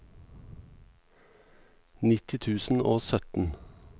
nitti tusen og sytten